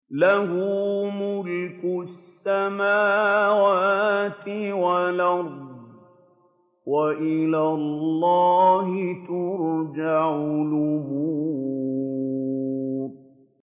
لَّهُ مُلْكُ السَّمَاوَاتِ وَالْأَرْضِ ۚ وَإِلَى اللَّهِ تُرْجَعُ الْأُمُورُ